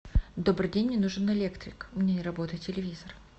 добрый день мне нужен электрик у меня не работает телевизор